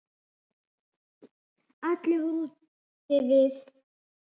Allir voru úti við.